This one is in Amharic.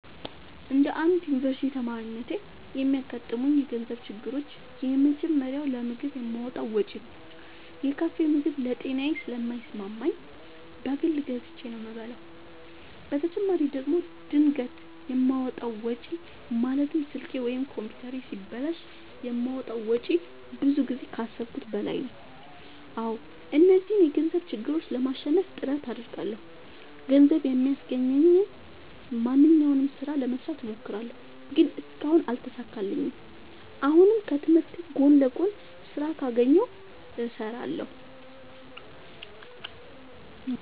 እንደ አንድ ዮኒቨርስቲ ተማሪነቴ የሚያጋጥሙኝ የገንዘብ ችግሮች የመጀመሪያው ለምግብ የማወጣው ወጪ ነው። የካፌ ምግብ ለጤናዬ ስለማይስማማኝ በግል ገዝቼ ነው የምበላው በተጨማሪ ደግሞ ድንገት የማወጣው ወጪ ማለትም ስልኬ ወይም ኮምፒውተሬ ሲበላሽ የማወጣው ወጪ ብዙ ጊዜ ከአሠብኩት በላይ ነው። አዎ እነዚህን የገንዘብ ችግሮች ለማሸነፍ ጥረት አደርጋለሁ። ገንዘብ የሚያስገኘኝን ማንኛውንም ስራ ለመስራት እሞክራለሁ። ግን እስካሁን አልተሳካልኝም። አሁንም ከትምህርቴ ጎን ለጎን ስራ ካገኘሁ እሠራለሁ።